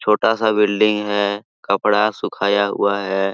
छोटा सा बिल्डिंग है कपड़ा सुखाया हुआ हैं।